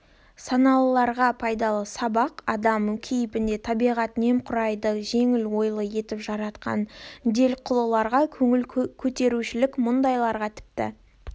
саналыларға пайдалы сабақ адам кейпінде табиғат немқұрайды жеңіл ойлы етіп жаратқан делқұлыларға көңіл көтерушілік мұндайларға тіпті